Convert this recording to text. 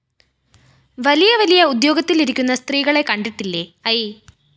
വലിയ വലിയ ഉദ്യോഗത്തിലിരിക്കുന്ന സ്ത്രീകളെ കണ്ടിട്ടില്ലേ? ഐ